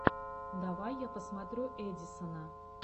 давай я посмотрю эдисона